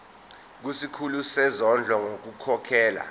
kusikhulu sezondlo ngokukhokhela